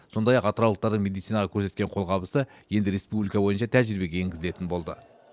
сондай ақ атыраулықтардың медицинаға көрсеткен қолғабысы енді республика бойынша тәжірибеге енгізілетін болды